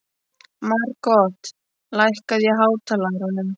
Margot, lækkaðu í hátalaranum.